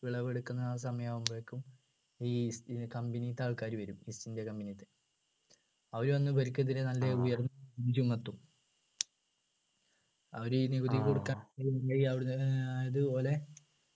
വിളവ് എടുക്കുന്ന ആ സമയം ആവുമ്പോളേക്കും ഈ ന്ന company ത്തെ ആൾക്കാരു വരും east ഇന്ത്യ company ത്തെ അവര് വന്നു ഇവർക്കെതിരെ നല്ല ഉയർന്ന ചുമത്തും അവർ ഈ നികുതി കൊടുക്കാൻ അതുപോലെ